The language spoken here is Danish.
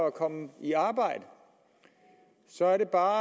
at komme i arbejde så er det bare